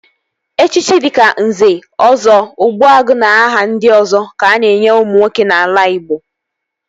Echichi dịka Nze, Ọzọ, Ogbuagu na aha ndị ọzọ ka a na-enye ụmụ nwoke n'ala Ịgbo